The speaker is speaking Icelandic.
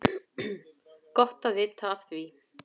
Gott að vita af því!